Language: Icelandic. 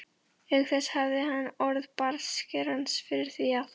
Auk þess hafði hann orð bartskerans fyrir því að